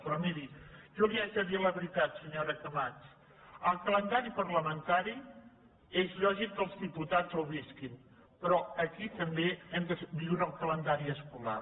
però miri jo li haig de dir la veritat senyora camats el calendari parlamen·tari és lògic que els diputats el visquin però aquí també hem de viure el calendari escolar